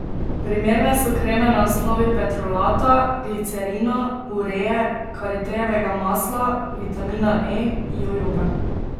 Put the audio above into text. Primerne so kreme na osnovi petrolata, glicerina, uree, karitejevega masla, vitamina E, jojobe ...